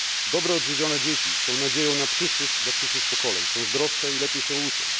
Dobrze odżywione dzieci są nadzieją dla przyszłych pokoleń, są zdrowsze i lepiej się uczą.